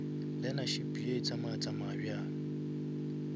learnership ye tsamaya tsamaya bjang